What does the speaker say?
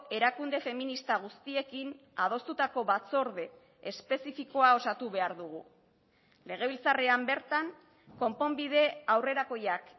erakunde feminista guztiekin adostutako batzorde espezifikoa osatu behar dugu legebiltzarrean bertan konponbide aurrerakoiak